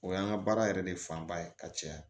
O y'an ka baara yɛrɛ de fanba ye ka caya